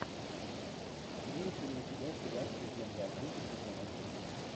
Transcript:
имеется ли у тебя сериал легенда о круге сезон один